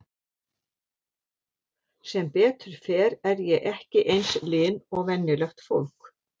Sem betur fer er ég ekki eins lin og venjulegt fólk.